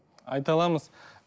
айта аламыз